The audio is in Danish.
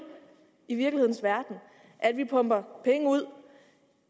i virkelighedens verden at vi pumper penge ud